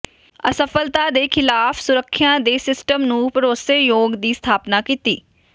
ਅਸਫਲਤਾ ਦੇ ਖਿਲਾਫ ਸੁਰੱਖਿਆ ਦੇ ਸਿਸਟਮ ਨੂੰ ਭਰੋਸੇਯੋਗ ਦੀ ਸਥਾਪਨਾ ਕੀਤੀ